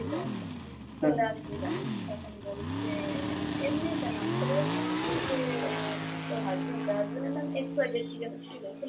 চলে আসলি কেন? তখন বলছে, এমনি কেন আসতে পারি না? তখন বলেছে আহ তোর husband কই? husband এর নাম X Y Z কী যেনো ছিলো ,